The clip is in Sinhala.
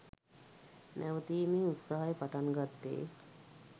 නැවතීමේ උත්සාහය පටන්ගත්තෙ